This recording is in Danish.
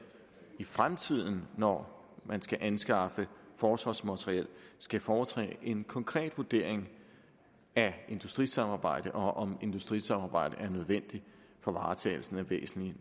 i fremtiden når man skal anskaffe forsvarsmateriel skal foretage en konkret vurdering af industrisamarbejdet og af om industrisamarbejdet er nødvendigt for varetagelsen af væsentlige